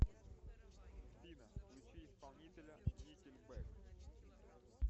афина включи исполнителя никельбэк